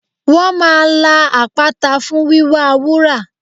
Wọ́n máa la àpáta fún wíwá wúrà